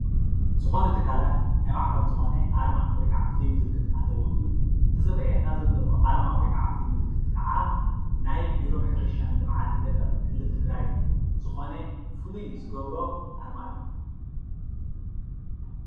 ዝኾነ ትካላት ናይ ባዕሎም ዝኾነ ኣርማ ወይ ከዓ ምልክት ኣለዎም እዩ፡፡ እቲ ዝርአየና ዘሎ ኣርማ ወይ ከዓ ፍሉይ ምልክት ከዓ ናይ ቢሮ ሕርሻን ልምዓትን ገጠር ክልል ትግራይ ዝኾነ ፍሉይ ዝገብሮ ኣርማ እዩ፡፡